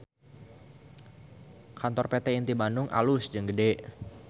Kantor PT Inti Bandung alus jeung gede